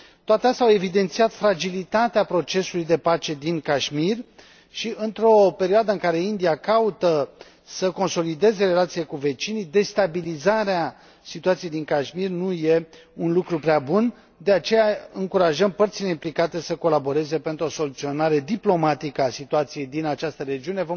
Toate acestea au evidențiat fragilitatea procesului de pace din Kashmir și, într o perioadă în care India caută să consolideze relațiile cu vecinii, destabilizarea situației din Kashmir nu e un lucru prea bun, de aceea încurajăm părțile implicate să colaboreze pentru o soluționare diplomatică a situației din această regiune.